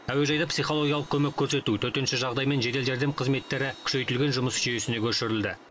әуежайда психологиялық көмек көрсету төтенше жағдай мен жедел жәрдем қызметтері күшейтілген жұмыс жүйесіне көшірілді